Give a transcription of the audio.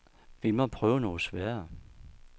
Vi må prøve noget sværere.